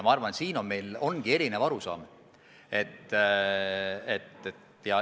Ma arvan, et selles osas meil on erinev arusaam.